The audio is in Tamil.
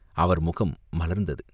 அவர் முகம் மலர்ந்தது.